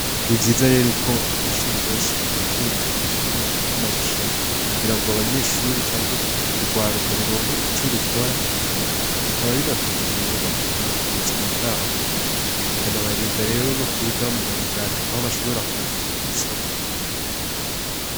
Nivyiza rero ko amashure menshi bategegura imikino canke amarushanwa kugira ngo abanyeshure canke urwaruka ruronke ico rukora bikaba binafitiye rero akamaro kubuzima bwabo bikanabarinda rero nokuja mumarigara canke mungeso mbi